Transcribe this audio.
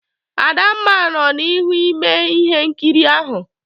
Adamma nọ n'ihu ime ihe nkiri ahụ.